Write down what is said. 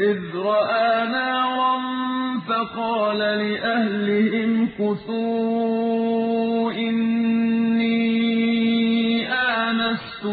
إِذْ رَأَىٰ نَارًا فَقَالَ لِأَهْلِهِ امْكُثُوا إِنِّي آنَسْتُ